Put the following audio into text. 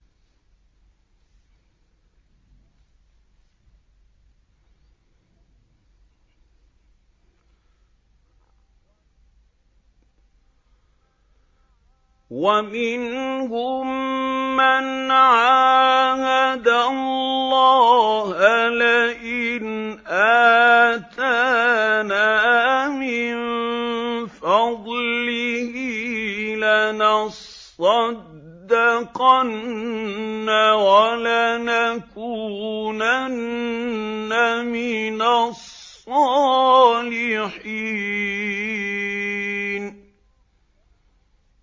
۞ وَمِنْهُم مَّنْ عَاهَدَ اللَّهَ لَئِنْ آتَانَا مِن فَضْلِهِ لَنَصَّدَّقَنَّ وَلَنَكُونَنَّ مِنَ الصَّالِحِينَ